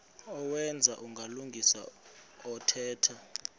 owenza ubulungisa othetha